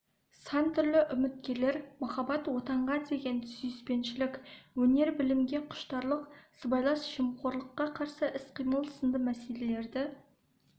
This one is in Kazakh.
сан түрлі үміткерлер махаббат отанға деген сүйіспеншілік өнер-білімге құштарлық сыбайлас жемқорлыққа қарсы іс-қимыл сынды мәселелерді